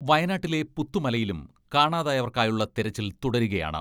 വയനാട്ടിലെ പുത്തുമലയിലും കാണാതായവർക്കായുള്ള തെരച്ചിൽ തുടരുകയാണ്.